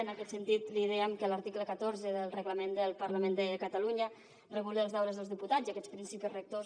en aquest sentit li dèiem que l’article catorze del reglament del parlament de catalunya regula els deures dels diputats i aquests principis rectors